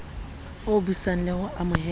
o busang le ho ameha